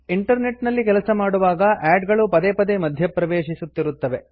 internet ನಲ್ಲಿ ಕೆಲಸ ಮಾಡುವಾಗ ಆಡ್ ಗಳು ಪದೇ ಪದೇ ಮಧ್ಯಪ್ರವೇಶಿಸುತ್ತಿರುತ್ತವೆ